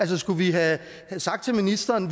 det skulle vi have sagt til ministeren